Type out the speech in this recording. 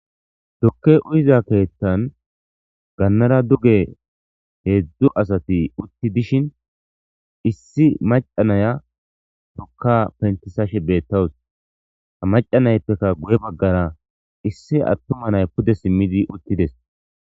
dokke uyiza keettan gannara duge heedzdzu asati utti dishin issi macanaya tokka pentisashe beettawus ha macanayppekka guye baggara issi attuma nay pude simmidi uttides